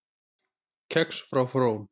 Kex frá Frón